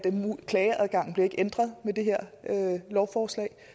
klageadgangen ikke bliver ændret med det her lovforslag